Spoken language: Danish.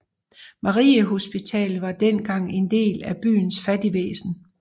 Mariehospitalet var dengang en del af byens fattigvæsen